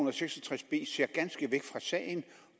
og seks og tres b ses ganske væk fra sagen